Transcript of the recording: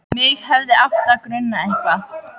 Mig hefði átt að gruna eitthvað.